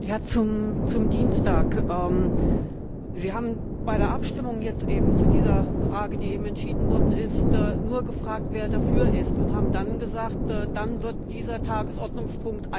Herr Präsident! Zum Dienstag Sie haben bei der Abstimmung jetzt eben zu dieser Frage, die eben entschieden worden ist, nur gefragt, wer dafür ist, und haben dann gesagt Dann wird dieser Tagesordnungspunkt